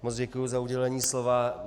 Moc děkuji za udělení slova.